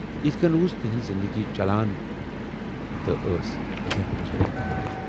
یِتھٕ کٔنۍ روٗز تِہٕنز زِندگی چلان تہٕ ٲسۍ دٮ۪ن گُذٲری کران۔